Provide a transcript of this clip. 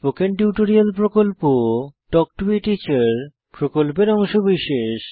spoken tutorial প্রকল্প talk to a teacher প্রকল্পের অংশবিশেষ